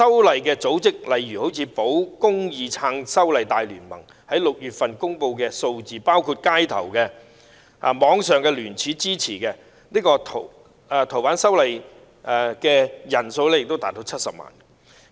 例如，根據保公義撐修例大聯盟在6月公布的數字，街頭及網上聯署支持修訂《逃犯條例》的人數亦達到70萬人。